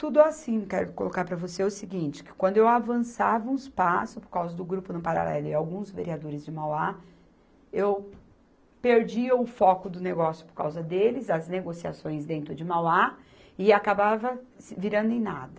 Tudo assim, quero colocar para você o seguinte, que quando eu avançava uns passos, por causa do Grupo No Paralelo e alguns vereadores de Mauá, eu perdia o foco do negócio por causa deles, as negociações dentro de Mauá, e acabava virando em nada.